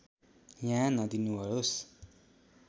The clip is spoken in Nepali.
यहाँ नदिनुहोस्